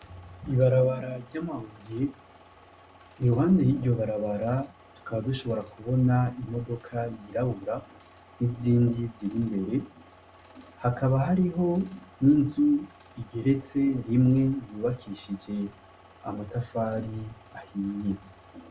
Ibarabara ry' amabuye iruhande y' iryo barabara tukaba dushobora kubona imodoka yirabura n' izindi ziri imbere hakaba hariho n' inzu igeretse rimwe yubakishije amatafari ahiye.